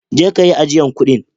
Je'ka yi ajian kudin.